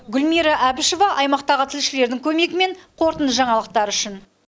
гүлмира әбішева аймақтағы тілшілердің көмегімен қорытынды жаңалықтар үшін